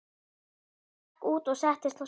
Hann gekk út og settist á stein.